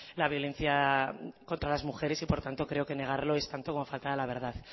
la violencia contra las mujeres y por tanto creo que negarlo es tanto como faltar a la verdad